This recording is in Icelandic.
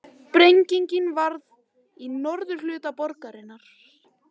Sprengingin varð í norðurhluta borgarinnar